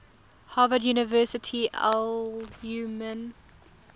harvard university alumni